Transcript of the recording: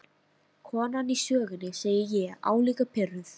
Konan í sögunni, segi ég álíka pirruð.